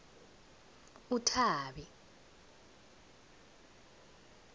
uthabi